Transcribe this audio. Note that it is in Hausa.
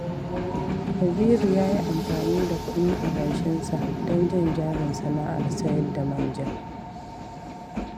Kabiru ya yi amfani da kuɗin adashinsa don jan jarin sana'ar sayar da manja